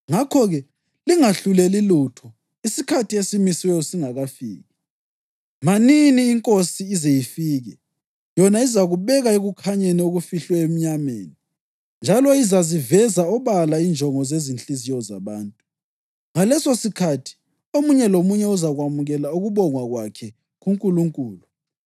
Ngakho-ke, lingahluleli lutho isikhathi esimisiweyo singakafiki; manini iNkosi ize ifike. Yona izakubeka ekukhanyeni okufihlwe emnyameni, njalo izaziveza obala injongo zezinhliziyo zabantu. Ngalesosikhathi omunye lomunye uzakwamukela ukubongwa kwakhe kuNkulunkulu.